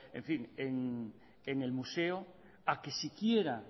en fin en el museo a que siquiera